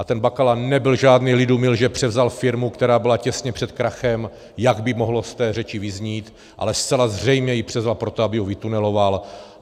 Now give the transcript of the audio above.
A ten Bakala nebyl žádný lidumil, že převzal firmu, která byla těsně před krachem, jak by mohlo z té řeči vyznít, ale zcela zřejmě ji převzal proto, aby ji vytuneloval.